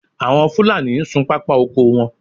Àwọn Fúlàní ń sun pápá oko wọn